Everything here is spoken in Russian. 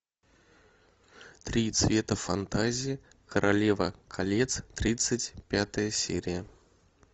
три цвета фантазии королева колец тридцать пятая серия